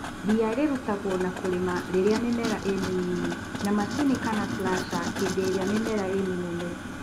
ria rirutagwo na kũrĩma rĩrĩa mĩmera ĩmĩnini ,na macini kana slasha hĩndĩ ĩrĩa mĩmera ĩmĩnene.